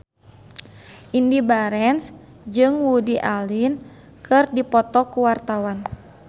Indy Barens jeung Woody Allen keur dipoto ku wartawan